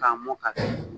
K'a mɔ ka